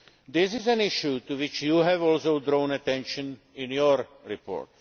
This is an issue to which you have also drawn attention in your report.